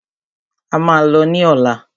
A máà lọ ní ọ̀lá.